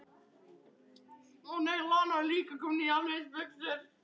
Hross geta orðið hölt af þessum sökum.